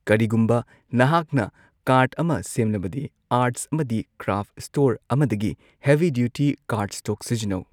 ꯀꯔꯤꯒꯨꯝꯕ ꯅꯍꯥꯛꯅ ꯀ꯭ꯔꯥꯐꯠ ꯑꯃ ꯁꯦꯝꯂꯕꯗꯤ, ꯑꯥꯔꯠꯁ ꯑꯃꯗꯤ ꯀ꯭ꯔꯥꯐꯁ ꯁ꯭ꯇꯣꯔ ꯑꯃꯗꯒꯤ ꯍꯦꯚꯤ ꯗ꯭ꯌꯨꯇꯤ ꯀꯥꯔꯗꯁ꯭ꯇꯣꯛ ꯁꯤꯖꯤꯟꯅꯧ꯫